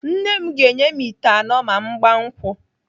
Nne m ga-enye m ite anọ ma mụ gbaa nkwụ.